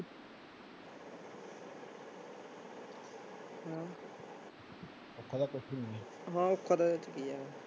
ਹਾਂ ਔਖਾ ਤਾਂ ਇਹ ਚ ਕੀ ਹੈ